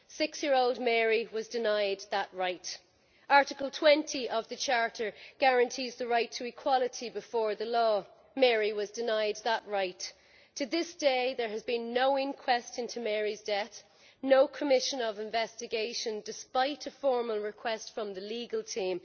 Six year old Mary was denied that right. Article 20 of the Charter guarantees the right to equality before the law, Mary was denied that right. To this day there has been no inquest into Mary's death, no commission of investigation, despite a formal request from the legal team.